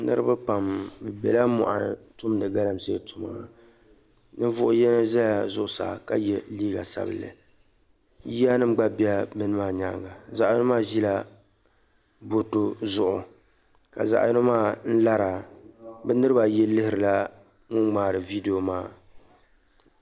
Niriba pam be bɛla mɔɣini tumdi galamsey tuma niŋvuɣ'yino zala zuɣusaa ka ye liiga sabinli yiya nim gba bɛla niriba maa nyaaŋa zaɣ'yino maa zila botɔ zuɣu ka zaɣ'yino maa lara bɛ niriba ayi lihiri la ŋun ŋmaari "video" maa